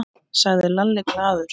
sagði Lalli glaður.